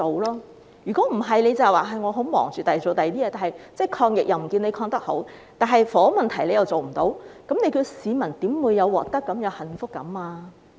政府只說忙於處理其他事情，但其抗疫表現卻不見得很好，房屋問題又無法處理，教市民如何會有獲得感和幸福感呢？